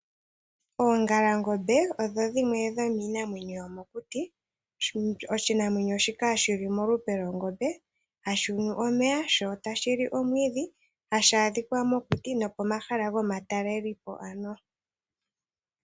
Oongala ngombe odho dhimwe dhominamwenyo yomokuti oshinamwenyo shika shili molupe lwongombe hashi nu omeya sho tashi li omwiidhi hashi adhika mokuti nopomahala gomatalelwepo.